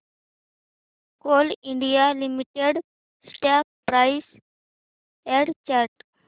Coal India Limited stock price and chart